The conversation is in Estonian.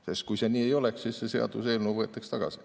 Sest kui see nii ei oleks, siis see seaduseelnõu võetaks tagasi.